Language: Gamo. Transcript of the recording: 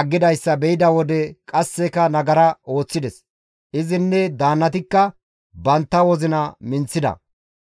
aggidayssa be7ida wode qasseka nagara ooththides; izinne daannatikka bantta wozina minththida.